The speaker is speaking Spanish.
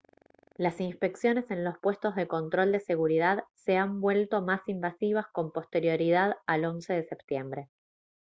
las inspecciones en los puestos de control de seguridad se han vuelto más invasivas con posterioridad al 11 de septiembre